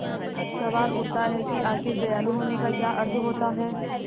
सवाल उठता है कि आखिर दयालु होने का क्या अर्थ होता है